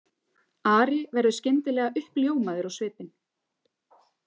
Ari verður skyndilega uppljómaður á svipinn.